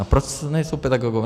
A proč nejsou pedagogové?